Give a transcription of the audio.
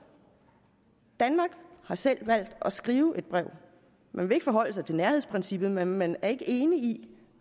danmark har selv valgt at skrive et brev man vil ikke forholde sig til nærhedsprincippet men man er ikke enig i